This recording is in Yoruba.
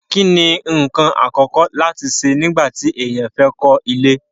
kí ni ǹkan àkọ́kọ́ láti ṣe nígbà tí èèyàn fẹ́ kọ́ ilé?